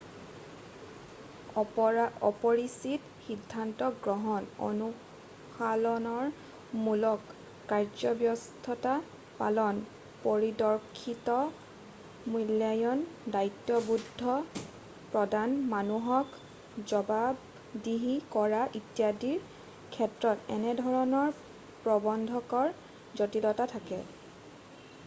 অপৰিচিত সিন্ধান্ত গ্ৰহণ অনুশাসনমূলক কাৰ্যব্যৱস্থা পালন পাৰদৰ্শিতাৰ মূল্যায়ন দায়িত্ববোধ প্ৰদান মানুহক জবাবদিহি কৰা ইত্যাদিৰ ক্ষেত্ৰত এনেধৰণৰ প্ৰবন্ধকৰ জটিলতা থাকে